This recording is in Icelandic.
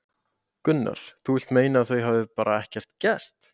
Gunnar: Þú vilt meina að þau hafi bara ekkert gert?